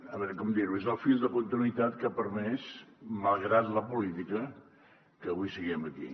a veure com dir ho és el fil de continuïtat que ha permès malgrat la política que avui siguem aquí